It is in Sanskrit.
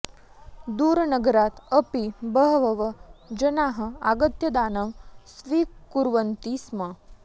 दूरनगरात् अपि बहवः जनाः आगत्य दानं स्वीकुर्वन्ति स्म